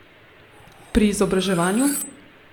Pri izobraževanju?